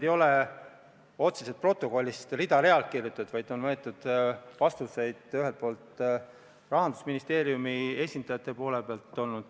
Ei ole otseselt protokollist rida-realt maha kirjutatud, vaid on valitud Rahandusministeeriumi esindajate vastuseid.